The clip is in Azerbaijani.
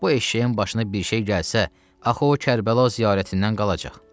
Bu eşşəyin başına bir şey gəlsə, axı o Kərbəla ziyarətindən qalacaq.